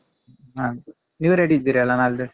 ಹ ನೀವ್ ready ಇದ್ದೀರಲ್ಲ ನಾಳ್ದು?